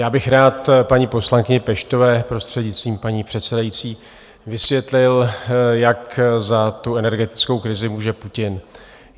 Já bych rád paní poslankyni Peštové prostřednictvím paní předsedající vysvětlil, jak za tu energetickou krizi může Putin.